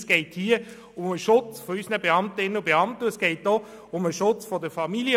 Es geht hier um den Schutz unserer Beamtinnen und Beamten und auch um den Schutz ihrer Familien.